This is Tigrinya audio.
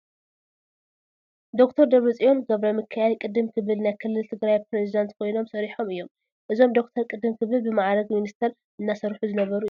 ዶክተር ደብረፅዮን ገብረሚካኤል ቅድም ክብል ናይ ክልል ትግራይ ፕሬዝደንት ኮይኖም ሰሪሖም እዮም፡፡ እዞም ዶክተር ቅድም ክብል ብማዕርግ ሚኒስተር እናሰርሑ ዝነበሩ እዮም፡፡